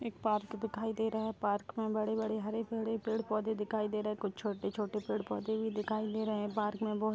एक पार्क दिखाई दे रहा है पार्क में बड़े-बड़े हरे-भरे पेड़-पौधे दिखाई दे रहे हैं कुछ छोटे-छोटे पेड़ पौधे भी दिखाई दे रहे हैं पार्क में बहुत --